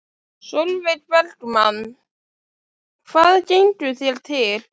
Sólveig Bergmann: Hvað gengur þér til?